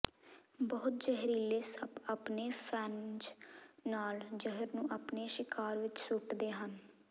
ਬਹੁਤੇ ਜ਼ਹਿਰੀਲੇ ਸੱਪ ਆਪਣੇ ਫੈਨਜ਼ ਨਾਲ ਜ਼ਹਿਰ ਨੂੰ ਆਪਣੇ ਸ਼ਿਕਾਰ ਵਿੱਚ ਸੁੱਟਦੇ ਹਨ